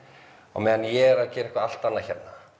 á meðan ég er að gera eitthvað allt annað hérna